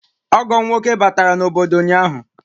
Ọgọ m nwoke batara n'obodo ụnyahụ